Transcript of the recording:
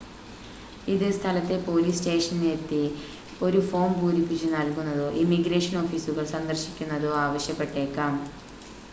ഇത് സ്ഥലത്തെ പോലീസ് സ്റ്റേഷനിലെത്തി ഒരു ഫോം പൂരിപ്പിച്ച് നൽകുന്നതോ ഇമിഗ്രേഷൻ ഓഫീസുകൾ സന്ദർശിക്കുന്നതോ ആവശ്യപ്പെട്ടേക്കാം